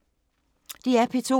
DR P2